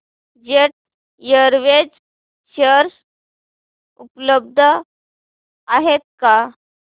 jet Airways share उपलब्ध आहेत का